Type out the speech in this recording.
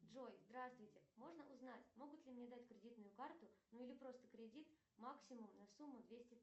джой здравствуйте можно узнать могут ли мне дать кредитную карту ну или просто кредит максимум на сумму двести